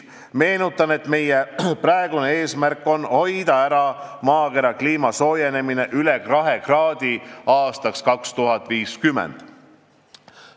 Meenutan, et meie praegune eesmärk on hoida ära maakera kliima soojenemine üle kahe kraadi aastaks 2050.